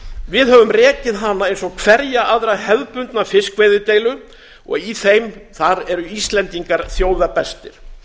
við höfum rekið hana eins og hverja aðra hefðbundna fiskveiðideilu og í þeim eru íslendingar þjóða bestir